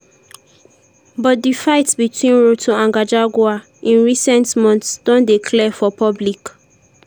but di fight between ruto and gachagua in recent months don dey clear for public.